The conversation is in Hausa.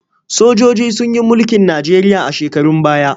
Sojoji sun yi mulkin Najeriya a shekarun baya.